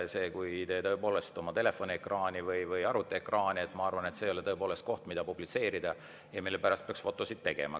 Kui te oma telefoniekraani või arvutiekraani – ma arvan, et see ei ole tõepoolest asi, mida publitseerida ja millest peaks fotosid tegema.